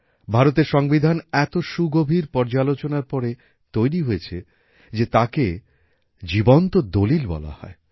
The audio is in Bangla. ভারতের সংবিধান এত সুগভীর পর্যালোচনার পরে তৈরি হয়েছে যে তাকে জীবন্ত দলিল বলা হয়